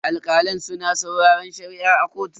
Alkalan suna sauraren Shari'a a kotu.